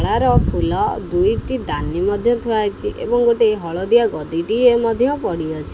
ଇଆର ଫୁଲ ଦୁଇଟି ଦାନୀ ମଧ୍ୟ ଥୁଆହେଇଚି ଏଵଂ ଗୋଟେ ହଳଦିଆ ଗଦିଟିଏ ମଧ୍ୟ ପଡ଼ିଅଛି।